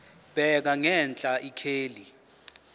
bheka ngenhla ikheli